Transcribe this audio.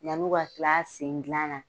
Yanni u ka tila sen dilan na